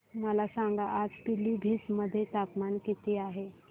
मला सांगा आज पिलीभीत मध्ये तापमान किती आहे